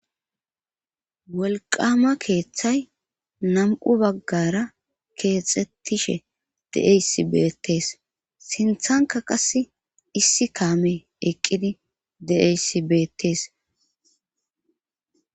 Wolqama keeththay nam7u baggara keexxettishe deeys beettees sinthanka qase issi kaame eqqidi deeyssi beettees